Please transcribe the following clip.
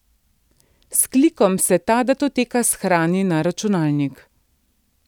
S klikom se ta datoteka shrani na računalnik.